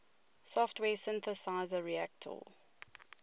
software synthesizer reaktor